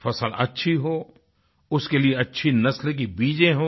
फसल अच्छी हो उसके लिए अच्छी नस्ल की बीजें हों